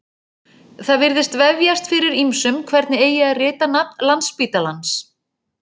Það virðist vefjast fyrir ýmsum hvernig eigi að rita nafn Landspítalans.